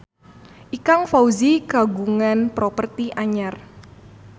Ikang Fawzi kagungan properti anyar